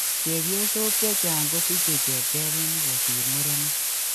Chepyosok chechang kosiche chepkebenik kosir murenik